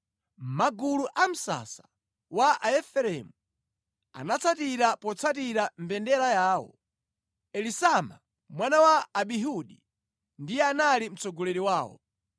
Magulu a msasa wa Aefereimu anatsatira potsatira mbendera yawo. Elisama mwana wa Amihudi ndiye anali mtsogoleri wawo.